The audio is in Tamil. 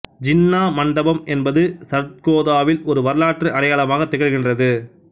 ஜின்னா மண்டபம் என்பது சர்கோதாவில் ஒரு வரலாற்று அடையாளமாக திகழ்கின்றது